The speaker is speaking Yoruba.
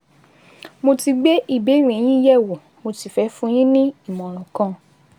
Mo ti gbé ìbéèrè yín yẹ̀wò, mo sì fẹ́ fún yín ní ìmọ̀ràn kan